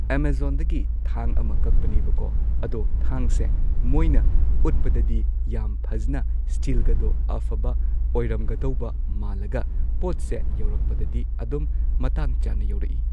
ꯑꯦꯃꯖꯣꯟꯗꯒꯤ ꯊꯥꯡ ꯑꯃ ꯀꯛꯄꯅꯦꯕꯀꯣ ꯑꯗꯣ ꯊꯥꯡꯁꯦ ꯃꯣꯏꯅ ꯎꯠꯄꯗꯗꯤ ꯌꯥꯝ ꯐꯖꯅ ꯁ꯭ꯇꯤꯜꯒꯗꯣ ꯑꯐꯕ ꯑꯣꯏꯔꯝꯒꯗꯧꯕ ꯃꯥꯜꯂꯒ ꯄꯣꯠꯁꯦ ꯌꯧꯔꯛꯄꯗꯗꯤ ꯑꯗꯨꯝ ꯃꯇꯥꯡ ꯆꯥꯅ ꯌꯧꯔꯛꯢ꯫